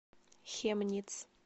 хемниц